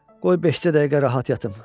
Qoy beş-altı dəqiqə rahat yatım.